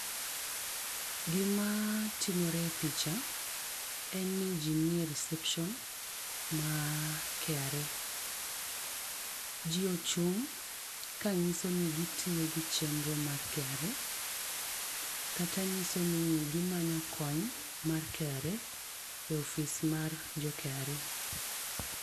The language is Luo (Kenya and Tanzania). Gima timore e picha, en ni ji ni e reception mar KRA.Ji ochung' ka nyiso ni gitiyo gi chenro mar KRA, kata nyiso ni gimanyo kony mar KRA e ofis mar jo KRA.